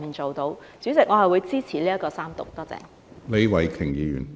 主席，我會支持三讀，多謝。